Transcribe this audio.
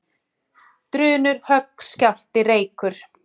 Drunur, högg, skjálfti, reykur.